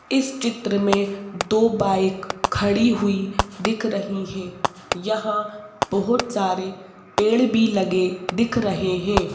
इस चित्र में दो बाइक खड़ी हुई दिख रही हैं यहां बहुत सारे पेड़ भी लगे दिख रहे हैं।